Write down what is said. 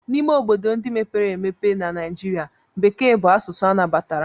N'ime obodo ndị mepere emepe na Naijiria, Bekee bụ asụsụ anabatara.